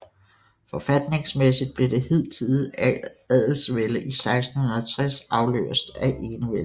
Forfatningsmæssigt blev det hidtidige adelsvælde i 1660 afløst af enevælden